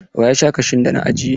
Wa ya sha kashun da na ajiye?